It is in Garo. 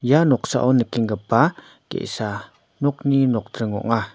ia noksao ni nikenggipa ge·sa nokni nokdring ong·a.